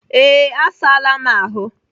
Ee, Asaala m ahụ.